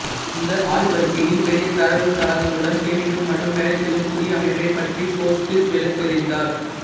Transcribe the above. இந்த ஆய்வறிக்கையில் பெரிய தரவுத்தளங்களுடன் சேமிக்கும் மற்றும் வேலை செய்யும் புதிய அமைப்பைப் பற்றி கோட் விளக்கியிருந்தார்